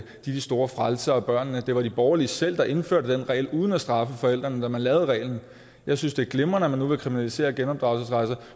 de store frelsere af børnene det var de borgerlige selv der indførte den regel uden at straffe forældrene da man lavede reglen jeg synes det er glimrende at man nu vil kriminalisere genopdragelsesrejser